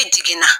I jiginna